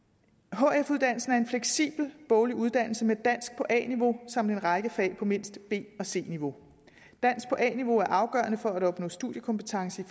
hf uddannelsen er en fleksibel boglig uddannelse med dansk på a niveau samt en række fag på mindst b og c niveau dansk på a niveau er afgørende for at opnå studiekompetence